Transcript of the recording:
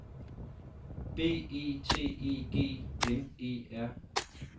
B E T E G N E R